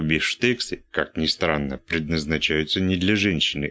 бифштексы как ни странно предназначаются не для женщины